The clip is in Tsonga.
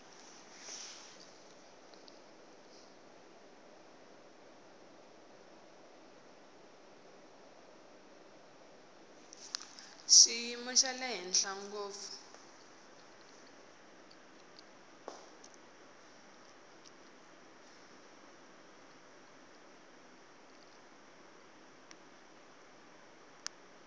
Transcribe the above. xiyimo xa le henhla ngopfu